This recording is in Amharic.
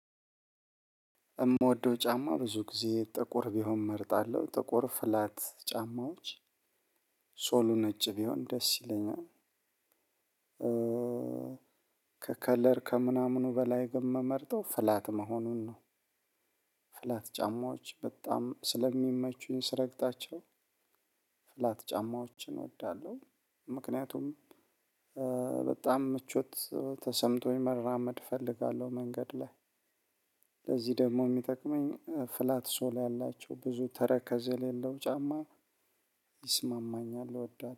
የምወደው ጫማ ብዙ ጊዜ ጥቁር ቢሆን እመርጣለሁ ጥቁር ፍላት ጫማዎች ሶሉ ነጭ ቢሆን ደስ ይለኛል ከከለር ከምናምኑ በላይ ግን ምመርጠው ፍላት መሆኑን ነው። ፍላት ጫማዎች በጣም ስለሚመቹኝ ስረግጣቸው ፍላት ጫማዎችን እወዳለሁ። ምክንያቱም በጣም ምቾት ተሰምቶኝ መራመድ እፈልጋለሁ መንገድ ላይ። እዚህ ደግሞ የሚጠቅመኝ ፍላት ሶል ያላቸው ብዙ ተረከዝ የሌለው ጫማ ይስማማኛል እወዳለሁ።